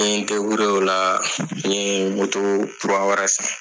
N ye o la n ye moto kura wɛrɛ san!